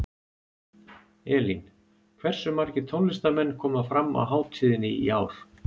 Elín, hversu margir tónlistarmenn koma fram á hátíðinni í ár?